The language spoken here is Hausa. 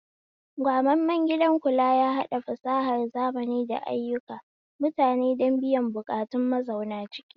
Gwamammen gidan kula yahaɗa fasahar zamani da ayyuka mutane don biyan buƙatun mazauna ciki